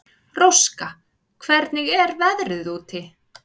Róska, hvernig er veðrið úti?